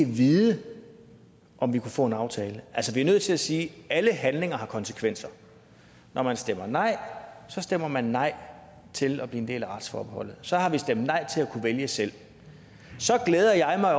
vide om vi kunne få en aftale altså vi er nødt til at sige at alle handlinger har konsekvenser og når man stemmer nej stemmer man nej til at blive en del af retsforbeholdet så har vi stemt nej til at kunne vælge selv så glæder jeg